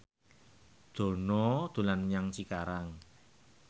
Dono dolan menyang Cikarang